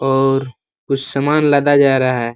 और कुछ सामान लादा जा रहा है।